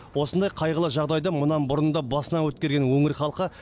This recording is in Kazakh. осындай қайғылы жағдайды мұнан бұрын да басынан өткерген өңір халқы